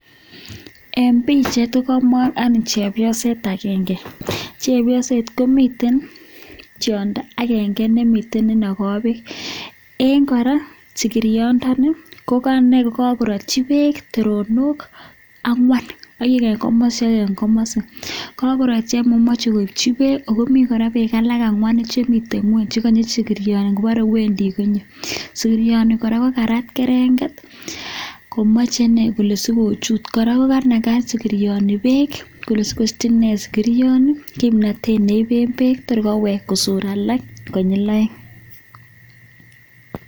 En pichait kogoibor chepyoset agenge, chepyoset komiten tiondo agenge nemiten ne inogo beek. En kora sigirioni koganai kokagorotyi beek terenik angwan oeng en komosi ak oeng en komosi. Kagorotyi moche koibchi beek ago mi beek alak angwanu chemiten ngweny che gonye sigirioni ngobore wendi konyo. Sigirioni kora kokarat kerenget komoche inee kole sikochut, kora kokanaga sigirioni beek kole sigosich inee sigirioni kimnatet neiben beek tor koweg kosor alak konyil oeng.